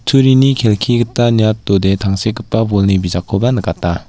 turini kelki gita niatode tangsekgipa bolni bijakkoba nikata.